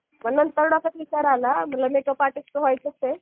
मग नंतर डोक्यात विचार आला मेकअप आर्टिस्ट तर व्हायचंच आहे.